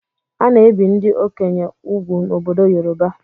A na-ebi ndị okenye úgwù n'obodo Yoroba.